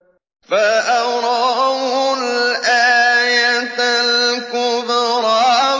فَأَرَاهُ الْآيَةَ الْكُبْرَىٰ